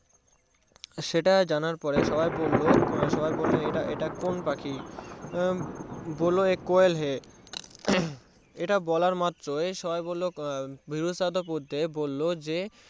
সেটা জানার পরে সবাই বললো সবাই বললো ইটা কোন পাখি বোলো যে কোয়েল হয় মহাম ইটা বলার মাত্রই সবাই বলে উঠলো বিদু সাহেদ পুড্ডি বললো যে